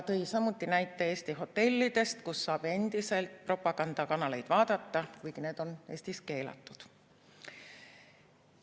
Ta tõi näite Eesti hotellidest, kus saab endiselt propagandakanaleid vaadata, kuigi need on Eestis keelatud.